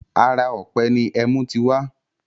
Ara ọ̀pẹ ni ẹmú ti wá